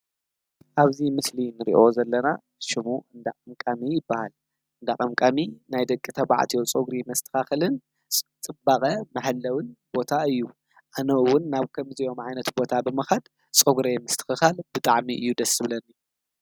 አብዚ ምስሊ እንሪኦ ዘለና ሽሙ እንዳ ቀምቃሚ ይበሃል፡፡ እንዳ ቀምቃሚ ናይ ደቂ ተባዕትዮ ፀጉሪ መስተኻኸልን ፅባቐ መሐለዊ ቦታ እዩ፡፡ አነ እውን ናብ ከምዚኦም ዓይነት ቦታታ ብምኻድ ፀጉረይ ምስትኽኻል ብጣዕሚ እዩ ደስ ዝብለኒ፡፡